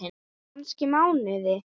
Kannski mánuði!